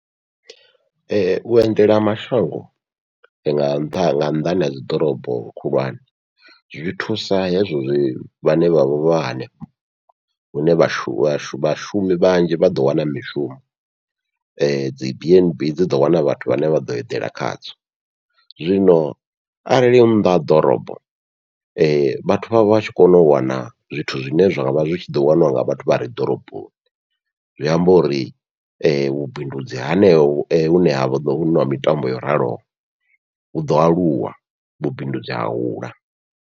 Vhuendela mashango nga nṱha nga nnḓani ha dzi ḓorobo khulwane, zwi thusa hezwo zwi vhane vhavha hanefho hune vhashumi vhashu vhashumi vhanzhi vha ḓo wana mishumo, dzi bnb dzi ḓo wana vhathu vhane vha ḓo eḓela khadzo. Zwino arali nnḓa ha ḓorobo vhathu vha vhatshi kona u wana zwithu zwine zwa vha zwi tshi ḓo waniwa nga vhathu vhare ḓoroboni, zwi amba uri vhubindudzi haneho hune ha ḓovha huna mitambo yo raloho huḓo aluwa vhubindudzi ha hula.